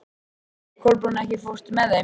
Kolbrún, ekki fórstu með þeim?